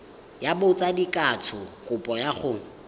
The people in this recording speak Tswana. ya botsadikatsho kopo ya go